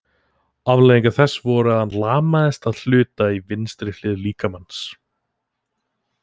Afleiðingar þess voru þær að hann lamaðist að hluta í vinstri hlið líkamans.